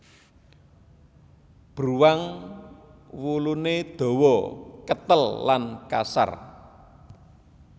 Bruwang wuluné dawa ketel lan kasar